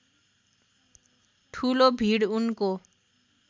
ठूलो भीड उनको